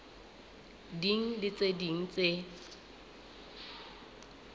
ding le tse ding tse